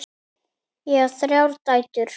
Ég á þrjár dætur.